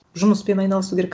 жұмыспен айналысу керек